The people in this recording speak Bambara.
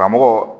Karamɔgɔ